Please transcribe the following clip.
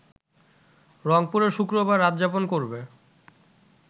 রংপুরে শুক্রবার রাতযাপন করবে